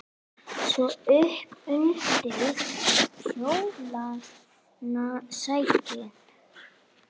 Svo upp undir kjólana sækinn!